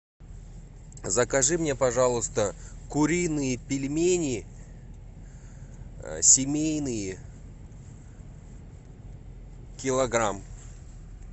закажи мне пожалуйста куриные пельмени семейные килограмм